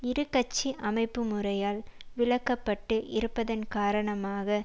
இரு கட்சி அமைப்பு முறையால் விலக்கப்பட்டு இருப்பதன் காரணமாக